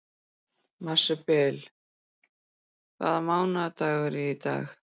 Marsibil, hvaða mánaðardagur er í dag?